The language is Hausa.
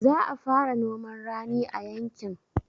Za a fara noman rani a yankin